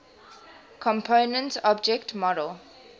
component object model